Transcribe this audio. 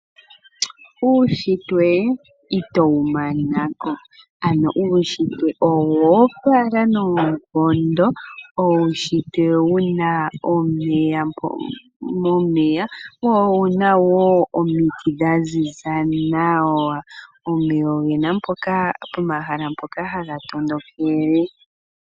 Uunshitwe itowu mana ko ano uunshitwe owoopala noonkondo wuna omeya wo owuna wo omiti dhaziza nawa. Omeya ogena pomahala mpoka haga tondokele.